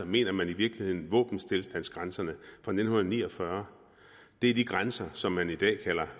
mener man i virkeligheden våbenstilstandsgrænserne fra nitten ni og fyrre det er de grænser som man i dag kalder